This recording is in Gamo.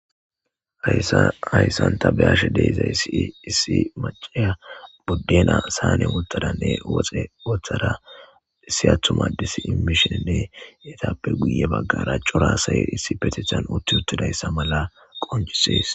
hayssan taa be'ashshe deezayssi issi maciya buddena sane wottadanne woxe woththara issi attumma ades imishshininne etappe guye baggara cora asayi issi petethan utti uttidayssa mala qoncisees